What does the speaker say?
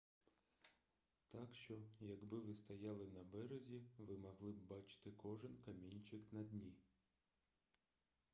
так що якби ви стояли на березі ви могли б бачити кожен камінчик на дні